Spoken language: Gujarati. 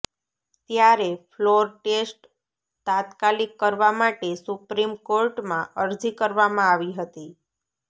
ત્યારે ફ્લોર ટેસ્ટ તાત્કાલિક કરવા માટે સુપ્રીમ કોર્ટમાં અરજી કરવામાં આવી હતી